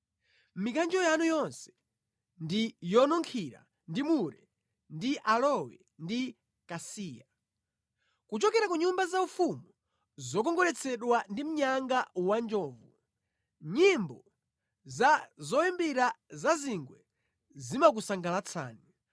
Mikanjo yanu yonse ndi yonunkhira ndi mure ndi aloe ndi kasiya; kuchokera ku nyumba zaufumu zokongoletsedwa ndi mnyanga wanjovu nyimbo za zoyimbira zazingwe zimakusangalatsani.